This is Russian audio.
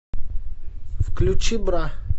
включи бра